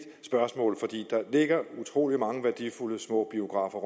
spørgsmål fordi der ligger utrolig mange værdifulde små biografer